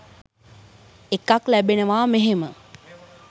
එකක් ලැබෙනවා මෙහෙම